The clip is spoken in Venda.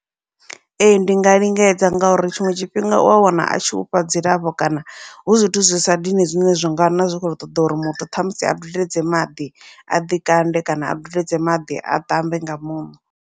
Ee ndi nga lingedza ngauri tshiṅwe tshifhinga ua wana atshi ufha dzilafho kana hu zwithu zwi sa dini, zwine zwa nga na zwi kho ṱoḓa uri muthu ṱhamusi a dudedze maḓi aḓi kande kana a dudedze maḓi a tambe nga muṋo.